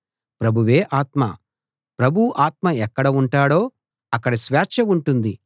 ప్రభువే ఆత్మ ప్రభువు ఆత్మ ఎక్కడ ఉంటాడో అక్కడ స్వేచ్ఛ ఉంటుంది